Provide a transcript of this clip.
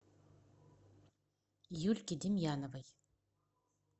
юльке демьяновой